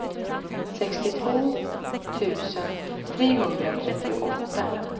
sextiotvå tusen trehundratrettioåtta